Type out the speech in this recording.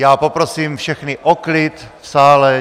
Já poprosím všechny o klid v sále.